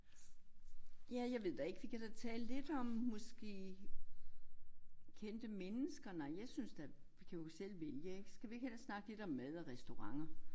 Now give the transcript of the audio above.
Ja jeg ved da ikke vi kan da tale lidt om måske kendte mennesker nej jeg synes da vi kan jo selv vælge ik skal vi ikke hellere snakke lidt om mad og restauranter